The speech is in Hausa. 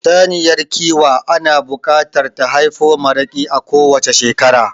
Saniyar kiwa ana buƙatar ta haifo maraƙi a kowacce shekara